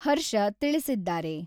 ಹರ್ಷ ತಿಳಿಸಿದ್ದಾರೆ.